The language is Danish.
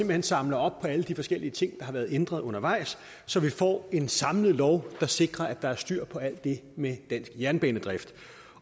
hen samler op på alle de forskellige ting har været ændret undervejs så vi får en samlet lov der sikrer der er styr på alt det med dansk jernbanedrift